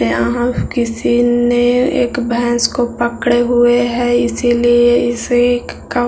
यहाँ किसी ने एक भैंस को पकड़े हुए है इसीलिए इसे एक क --